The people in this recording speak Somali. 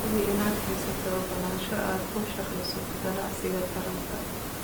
Hubi inaad haysato ogolaansho aad ku shaqeyso ganacsiga taranka.